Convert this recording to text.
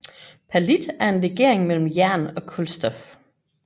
Perlit er en legering mellem jern og kulstof